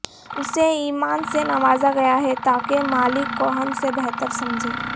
اسے ایمان سے نوازا گیا ہے تا کہ مالک کو ہم سے بہتر سمجھے